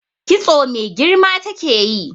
Kitso mai girma take yi.